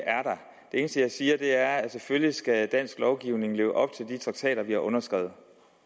eneste jeg siger er at selvfølgelig skal dansk lovgivning leve op til de traktater vi har underskrevet